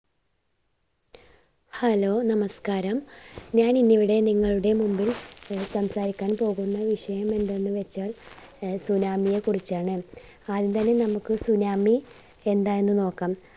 hello നമസ്കാരം. ഞാൻ ഇന്ന് ഇവിടെ നിങ്ങളുടെ മുമ്പിൽ അഹ് സംസാരിക്കാൻ പോകുന്ന വിഷയം എന്തെന്നുവച്ചാൽ അഹ് tsunami യെ കുറിച്ചാണ്. ആദ്യം തന്നെ നമ്മുക്ക് സുനാമി എന്താണെന്ന് നോക്കാം.